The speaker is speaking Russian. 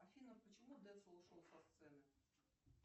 афина почему децл ушел со сцены